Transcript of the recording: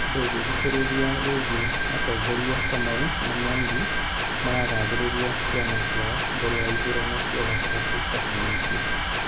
Ndũngĩthikĩrĩria rĩngĩ mũtongoria Kamau na Mwangi maragathĩrĩria ciama ciao mbele ya ithurano cia gatagatĩ citafanĩtio